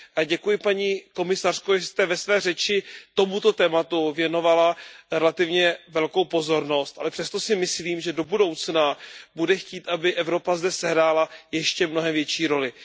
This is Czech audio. Děkuji paní komisařko, že jste ve své řeči tomuto tématu věnovala relativně velkou pozornost, ale přesto si myslím, že do budoucna bude potřeba, aby Evropa zde sehrála ještě mnohem větší roli.